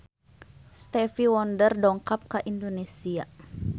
Stevie Wonder dongkap ka Indonesia